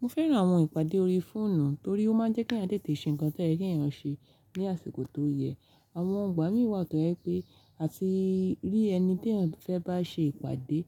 Mo fẹ́ran àwọn ìpàdé ori fọ́ọ̀nù torí ó máa ń jẹ́ kí èèyàn tètè ṣe ǹkan tó eyàn ṣe ní àsìkò tó yẹ. Àwọn igbà mí wà tó jẹ pé àti rí ẹni ti eyan fẹ́ bá ṣe ìpàdé,